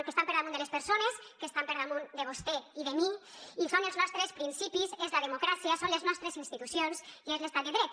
que estan per damunt de les persones que estan per damunt de vostè i de mi i són els nostres principis és la democràcia són les nostres institucions i és l’estat de dret